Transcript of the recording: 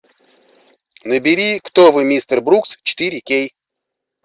набери кто вы мистер брукс четыре кей